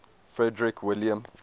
frederick william